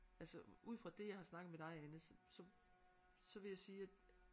Altså ud fra det jeg har snakket med dig Anne så så så vil jeg sige at